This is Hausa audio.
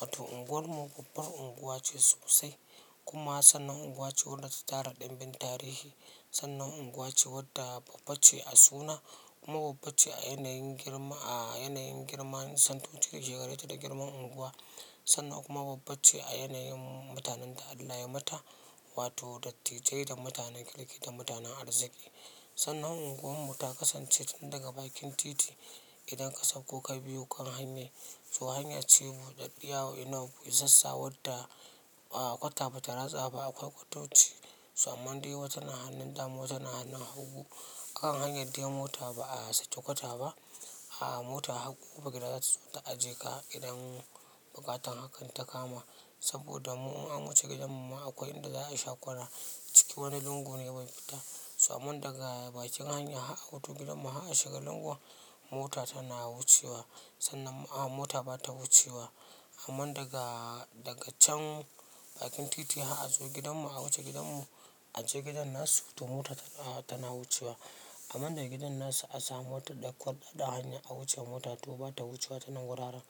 Wato unguwar mu babbar unguwa ce sosai, kuma sannan unguwa ce wanda ta tara ɗumbin tarihi. Sannan unguwa ce wadda babba ce a suna kuma babba ce a yanayin girma, a yanayin girman santotin shekararta da girman unguwa. Sannan kuma babba ce a yanayin mutanen da Allah yai mata, wato dattijai da mutanen kirki da mutanen arziki. Sannan unguwar mu ta kasance tun daga bakin titi, idan ka sauko ka biyo kan hanyar. To hanya ce buɗaɗɗiya, isassa wanda kwata bata ratsa ba, akwai kwatoci to amman dai wata na hannun dama, wata na hannun hagu. Akan hanyar dai mota ba a sake kwata ba. Ah mota har ƙofar gida za su zo ta ajiye ka har idan buƙatar hakan ta kama. Saboda mu in an wuce gidan mu ma akwai inda za a sha kwana, cikin wani lungu ne bai fita. To amman daga bakin hanya har a wutu gidan mu a shiga lungun mota tana wucewa, sannan mota ba ta wucewa. Amman daga, daga can bakin titi har a zo gidan mu a wuce gidan mu a je gidan nasu, to mota tana wucewa. Amman daga gidan nasu a samu motar da ƙwallon da hanya a wuce mota to ba ta wucewa ta nan wuraren.